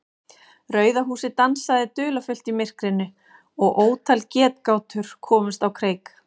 Rauða húsið dansaði dularfullt í myrkrinu og ótal getgátur komust á kreik.